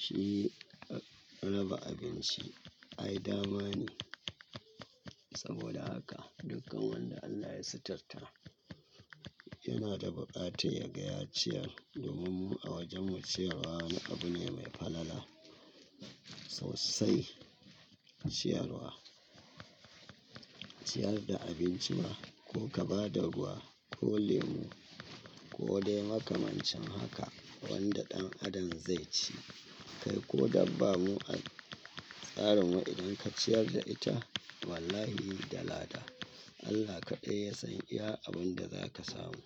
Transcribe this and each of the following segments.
Shi raba abinci ai dama ne. Saboda haka dukkan wanda Allah ya sitirta yana da buƙatar ya ga ya ciyar. Domin mu a wajenmu ciyarwa abu ne mai falala. Sausai ciyarwa, ciyar da abinci ma ko ka ba da ruwa ko lemu ko dai makamancin haka wanda ɗan Adam zai ci. Kai ko da bamu a tsarinmu idan ka ciyar da ita wallahi yi da lahada. Allah kaɗai ya san iya abun da za ka samu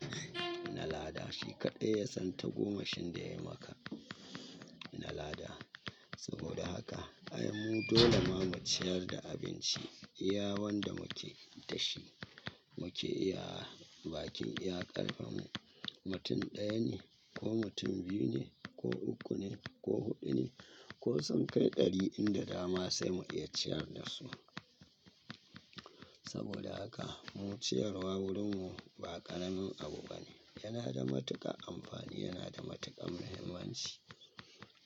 na lahada. Shi kaɗai ya san tagomashin da yayi maka na lahada. Saboda haka ai mu dole ma mu ciyar da abinci. Iya wanda muke da shi mu ke iya baki iya ƙarfinmu. Mutum ɗaya ne ko mutum biyu ne ko uku ne ko huɗu ne ko sun kai ɗari in da dama sai mu iya ciyar da su. Saboda haka mu ciyarwa wurinmu ba ƙaramin abu bane. Yana da matuƙar amfani, yana da matuƙar muhimmanci.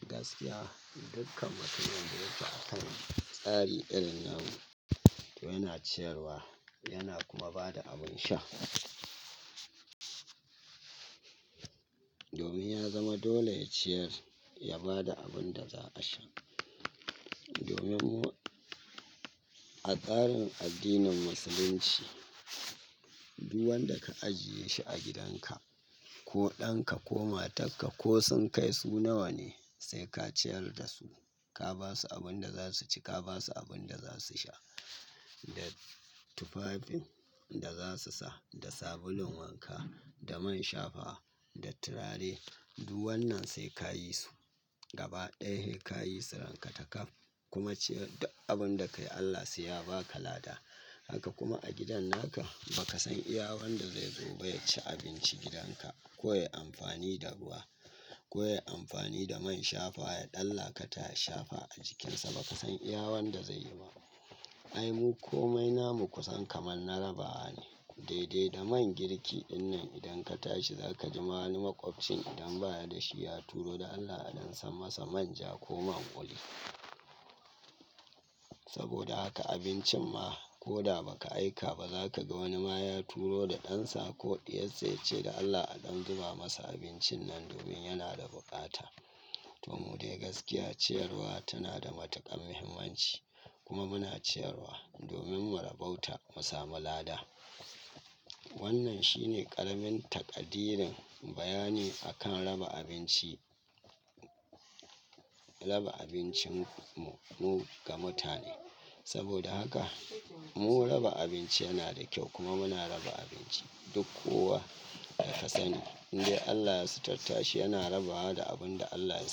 Gaskiya dukkan mutumin zai fi akan tsari irin namu toh yana ciyarwa yana kuma ba da abin sha. Domin ya zama dole ya ciyar ya ba da abin da za a sha. Domin mu a tsarin addinin musulunci, duk wanda ka ajiye shi a gidanka ko ɗanka ko matarka ko sun kai su nawa ne sai ka ciyar da su. Ka ba su abin da za su ci, ka ba su abin da za su sha. Da tufafin in da za su sa, da sabulun wanka, da man shafawa, da turare. Duk wannan sai ka yi su, gaba ɗaya. Ka yi su ranka taka kuma ciyar da abun da kai Allah sai ya ba ka lada. Haka kuma a gidan naka ba ka san iya wanda zai zo ba ya ci abinci gidan ka ko ya yi amfani da ruwa ko ya yi amfani da mai shafa ya ɗallaƙata ya shafa a jikinsa ba ka san iya wanda zai yi ma. Ai mu komai namu kusan kamar na rabawa ne. Daidai da man girki dinnan idan ka tashi za ka ji ma wani maƙwabcin idan ba ya da shi ya turo da Allah a don san masa manja ko man kuli. Saboda haka abincin ma ko da ba ka aika ba za ka ga wani ma ya turo da ɗansa ko ɗiyar sa ya ce dan Allah a don zuba masa abincin nan domin yana da buƙata. Toh mu dai gaskiya ciyarwa tana da matuƙar muhimmanci kuma muna ciyarwa domin mu rabauta mu samu lahada. Wannan shi ne ƙaramin taƙadirin bayani a kan raba abinci. Raba abincinmu mu ga mutane. Saboda haka mu raba abinci yana da kyau kuma muna raba abinci duk kowa da fasali. Indai Allah ya sitarta shi yana rabawa da abin da Allah ya sa.